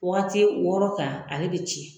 Waati wɔɔrɔ kan ale bɛ tiɲɛ